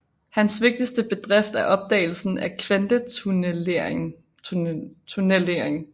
Hans vigtigste bedrift er opdagelsen af kvantetunnellering